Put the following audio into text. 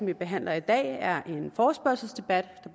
vi behandler i dag er en forespørgselsdebat